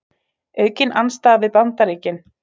Aukin andstaða við Bandaríkin